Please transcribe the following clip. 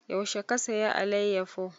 Yaushe ka saya alayyafo?